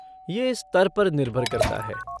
ये स्तर पर निर्भर करता है।